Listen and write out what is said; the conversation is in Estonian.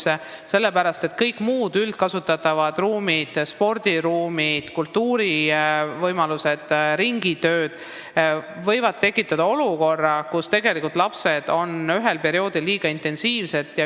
Eelkõige sellepärast, et kõik muud üldkasutatavad ruumid võivad sattuda olukorda, kus ruumikasutus on ühel perioodil liiga intensiivne.